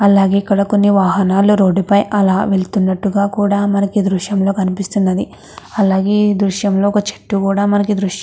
అలాగే ఇక్కడ కొన్ని వాహనల్లు రోడ్ పై వెళ్తున్నట్టుగా కూడా ఇక్కడ మనకి దుర్షంలో కనిపిస్తునది. అలాగే ఈ దృశ్యంలో ఒక చేట్టు కూడా మనకు ఈ దృశ్యలో--